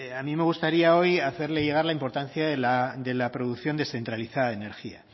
a mí me gustaría hoy hacerle llegar la importancia de la producción descentralizada de energía